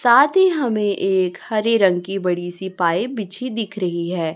साथ ही हमें एक हरे रंग बड़ी सी पाइप बिछी दिख रही है।